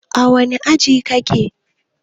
A wanne aji kike?